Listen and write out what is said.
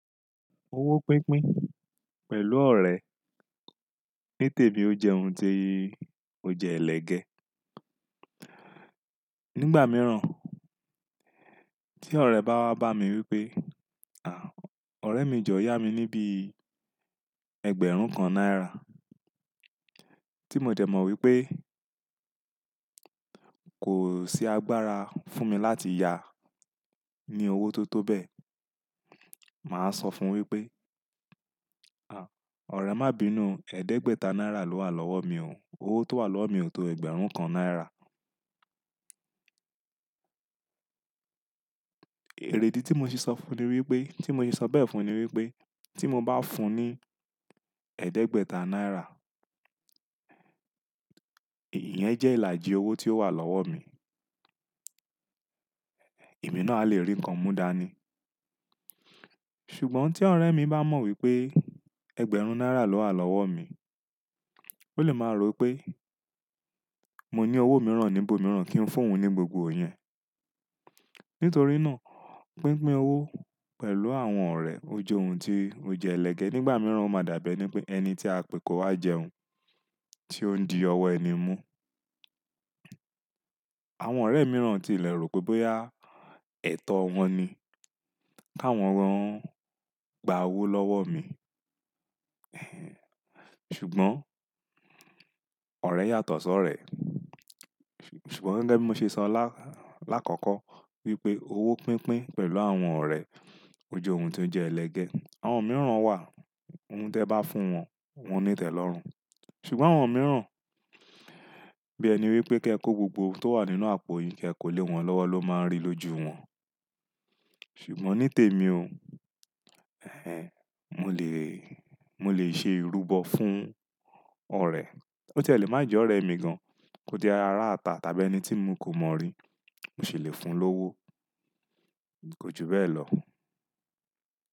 Owó pínpín pẹ̀lú ọ̀rẹ́ ní tèmi ó jẹ́ ohun tó jẹ́ ẹlẹ́gẹ́. Nígbà mìíràn tí ọ̀rẹ́ bá wá bá mi wípé, "à, ọ̀rẹ́ mi jọ yá mi ní bí ẹgbẹ̀rún kan náírà." Tí mo dẹ̀ mọ̀ wípé kò sí agbára fún mi láti yá ní owó tó tó bẹ́ẹ̀, màá sọ fún un wípé, "à, ọ̀rẹ́ má bínu, ẹ̀ẹ́dẹ́gbẹ̀ta náírà ló wà lọ́wọ́ mi òun, owó tó wà lọ́wọ́ mi ò tó ẹgbẹ̀rún kan náírà." Èrèdí tí mo ṣe sọ fún un ni wípé, tí mo ṣe sọ bẹ́ẹ̀ fún un ni wípé tí mo bá fún un ní ẹ̀ẹ́dẹ́gbẹ̀ta náírà, ìyẹn jẹ́ ìlàjì owó tí ó wà lọ́wọ́ mi. Èmi ná à lè rí nǹkan múdání. Ṣùgbọ́n tí ọ̀rẹ́ mi bá mọ̀ wípé ẹgbẹ̀rún náírà ló wà lọ́wọ́ mi, ó lè máa rò wípé mo ní owó mìíràn níbo mìíràn kí n fún un ní gbogbo yẹn. Nítorí náà pínpín owó pẹ̀lú àwọn ọ̀rẹ́ ó jẹ́ ohun tó jẹ́ ẹlẹ́gẹ́. Nígbà mìíràn ó máa dàbí ẹni tí à pe kó wá jẹun tí ó ń di ọwọ́ ẹni mú. Àwọn ọ̀rẹ́ mìíràn ti lè rò pé bóyá ẹ̀tọ́ wọn ni kí wọ́n rán gba owó lọ́wọ́ mi. Ṣùgbọ́n ọ̀rẹ́ yàtọ̀ sọ́ ọ̀rẹ́. Ṣùgbọ́n gẹ́gẹ́ bí mo ṣe sọ lá-- lákọ̀ọ̀kọ́ wípé owó pínpín pẹ̀lú àwọn ọ̀rẹ́ ó jẹ́ ohun tó jẹ́ ẹlẹ́gẹ́. Àwọn mìíràn wà, ohun tí ẹ bá fún wọn, wọ́n ó ní tẹ̀ lọ́run. Ṣùgbọ́n àwọn mìíràn bí ẹni wípé kí ẹ kó gbogbo ohun tó wà nínú àpò yín kí ẹ kó lè wọn lọ́wọ́ ló máa ń rí lójú wọn. Ṣùgbọ́n ní tèmi o, mo lè, mo lè ṣe ìrúbọ fún ọ̀rẹ́, bó tí ẹ́ lè má jẹ́ ọ̀rẹ́ mi gan, kó tí ẹ́ jẹ́ ará ita tàbí ẹni tí mo kò mọ̀ rí, mò ṣi lè fún un lówó. Kò ju bẹ́ẹ̀ lọ.